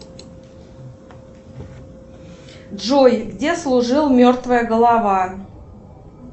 джой где служил мертвая голова